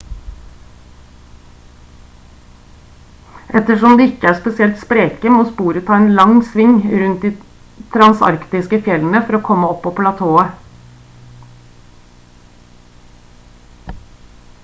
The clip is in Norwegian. ettersom de ikke er spesielt spreke må sporet ta en lang sving rundt de transantarktiske fjellene for å komme opp på platået